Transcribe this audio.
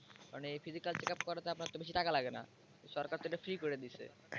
কারণ physical checkup করাতে আপনার তো বেশি টাকা লাগে না সরকারতো এটা free করে দিছে।